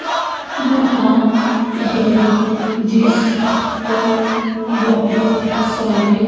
नहा है जिस पर बहोत सारे--